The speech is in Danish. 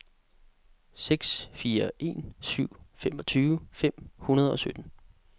seks fire en syv femogtyve fem hundrede og sytten